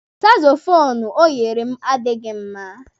Sakzofuunu o nyere m adịghị mma